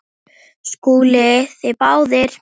SKÚLI: Þið báðir?